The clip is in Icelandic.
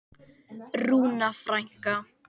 Rúna frænka.